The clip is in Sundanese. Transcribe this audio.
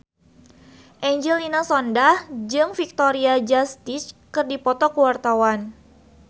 Angelina Sondakh jeung Victoria Justice keur dipoto ku wartawan